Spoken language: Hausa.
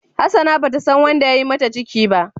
Hassana bata san wanda yayi mata ciki ba.